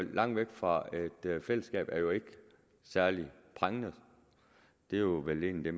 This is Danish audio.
langt væk fra et fællesskab er jo ikke særlig prangende det er vel egentlig